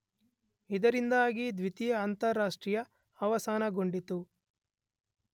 ಇದರಿಂದಾಗಿ ದ್ವಿತೀಯ ಅಂತಾರಾಷ್ಟ್ರೀಯ ಅವಸಾನಗೊಂಡಿತು.